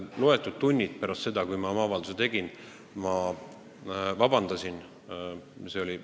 Mõni tund pärast seda, kui ma olin oma avalduse teinud, palusin ma vabandust.